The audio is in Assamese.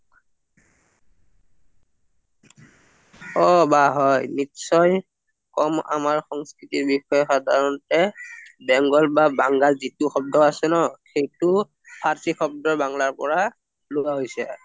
অ বা হয় নিশ্চয় কম আমাৰ সংস্কৃতিৰ বিষয়ে সাধাৰণতে bengal বা বাঙ্গাল যিটো শব্দ আছে ন সেইটো পাৰচি শব্দ বাংলাৰ পৰা লোৱা হৈছে